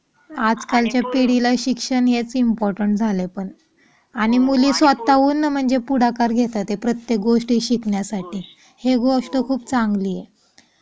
आज कालच्या पिढीला शिक्षण हेच इम्पॉर्टंट झाले पण आणि मुली स्वतःहून म्हणजे पुढाकार घेतात ते प्रत्येक गोष्टी शिकण्यासाठी हे गोष्ट खूप चांगली.